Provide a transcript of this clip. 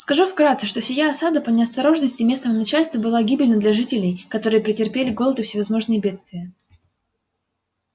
скажу вкратце что сия осада по неосторожности местного начальства была гибельна для жителей которые претерпели голод и всевозможные бедствия